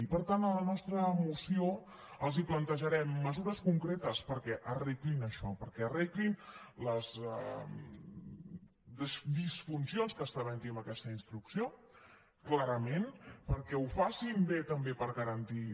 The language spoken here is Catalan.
i per tant a la nostra moció els plantejarem mesures concretes perquè arreglin això perquè arreglin les disfuncions que estan havent hi amb aquesta instrucció clarament perquè ho facin bé també per garantir